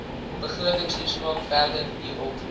begrotingstoespraak verder hierop